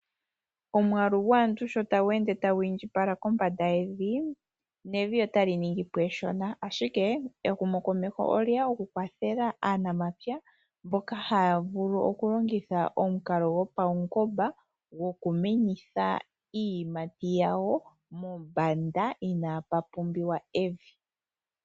Oomwaalu gwaantu sho tagu ende tagu iindjipala kombanda yevi nevi otali ningi po eshona, ashike ehumokomeho olye ya okukwathela aanamapya mboka haya vulu okulongithwa omukalo gopawungoba go ku menitha iiyimati yawo mombanda inapu pumbiwa evi.